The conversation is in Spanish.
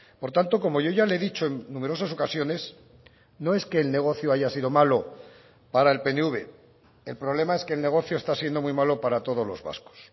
por tanto como yo ya le he dicho en numerosas ocasiones no es que el negocio haya sido malo para el pnv el problema es que el negocio está siendo muy malo para todos los vascos